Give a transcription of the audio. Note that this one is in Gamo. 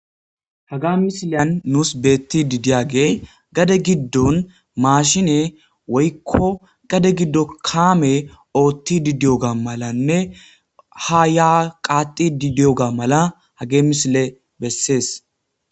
Haga misiliyan nus beettidi diyaage gade giddon maashine woykko gade giddo kaame oothidi diyoga malanne ha ya qaaxidi diyoga mala hage misile besses.